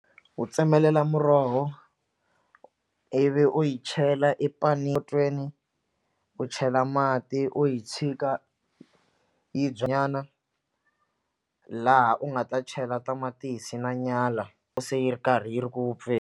U tsemelela muroho ivi u yi chela potweni u chela mati u yi tshika yi nyana laha u nga ta chela tamatisi na nyala se yi ri karhi yi ri ku .